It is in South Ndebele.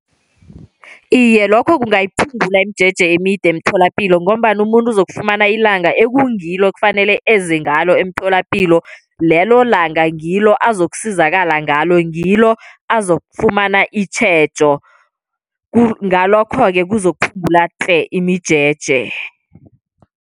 Iye, lokho kungayiphungula imijeje emide emtholapilo, ngombana umuntu uzokufumana ilanga ekungilo kufanele eze ngalo emtholapilo, lelo langa ngilo azokusizakala ngalo, ngilo azofumana itjhejo. Ngalokho-ke kuzokuphungula tle imijeje.